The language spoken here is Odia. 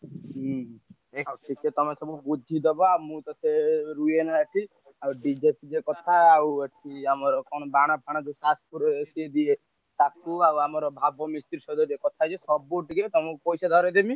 ହୁଁ ଆଉ ଟିକେ ତମେ ସବୁ ବୁଝିଦବ ଆଉ ମୁଁ ତ ସିଏ ରୁହେନା ଏଠି ଆଉ DJ ଫିଜେ କଥା ଆଉ ଏଠି ଆମର କଣ ବାଣ ଫାଣ ଯୋଉ ସିଏ ଦିଏ ତାକୁ ଆଉ ଆମର ଭାବ ମିସ୍ତ୍ରୀ ସହିତ ଟିକେ କଥାହେଇଯିବ ସବୁ ଟିକେ ତମୁକୁ ପଇସା ଧରେଇଦେବି।